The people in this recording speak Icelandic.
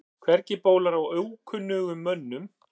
Hvergi bólar á ókunnugum mönnum.